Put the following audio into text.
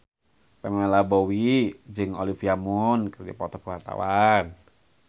Pamela Bowie jeung Olivia Munn keur dipoto ku wartawan